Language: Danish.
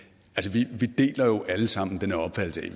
vi deler jo alle sammen den opfattelse